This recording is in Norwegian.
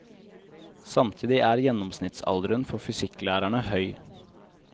Samtidig er gjennomsnittsalderen for fysikklærerne høy.